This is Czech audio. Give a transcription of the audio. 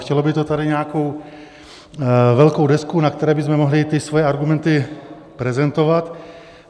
Chtělo by to tady nějakou velkou desku, na které bychom mohli ty své argumenty prezentovat.